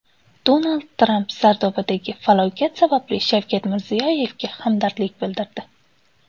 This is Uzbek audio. Donald Tramp Sardobadagi falokat sababli Shavkat Mirziyoyevga hamdardlik bildirdi.